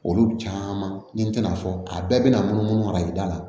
Olu caman ni n tɛna fɔ a bɛɛ bɛna mun mara i da la